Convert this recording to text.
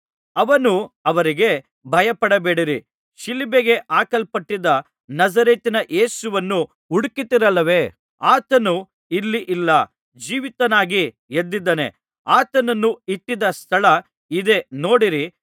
ಅವನು ಅವರಿಗೆ ಭಯಪಡಬೇಡಿರಿ ಶಿಲುಬೆಗೆ ಹಾಕಲ್ಪಟ್ಟಿದ್ದ ನಜರೇತಿನ ಯೇಸುವನ್ನು ಹುಡುಕುತ್ತಿರಲ್ಲವೇ ಆತನು ಇಲ್ಲಿ ಇಲ್ಲ ಜೀವಿತನಾಗಿ ಎದ್ದಿದ್ದಾನೆ ಆತನನ್ನು ಇಟ್ಟಿದ್ದ ಸ್ಥಳ ಇದೇ ನೋಡಿರಿ